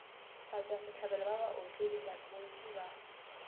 batšwasehlabelo ba baotledi bontši ba